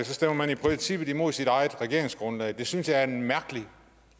stemmer man i princippet imod sit eget regeringsgrundlag det synes jeg er en mærkelig